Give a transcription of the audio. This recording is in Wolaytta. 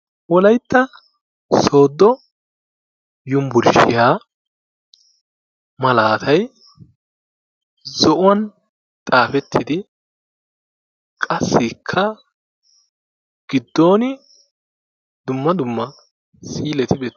Wolaytta Sooddo Yunburshshiya malaatay zo'uwan xaafettidi qassikka giddon dumma dumma siileeti beetto...